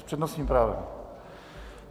S přednostním právem.